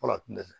Fɔlɔ a tun tɛ